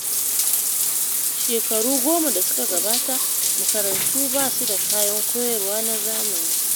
Shekaru goma da suka gabata, makarantu ba su da kayan koyarwa na zamani.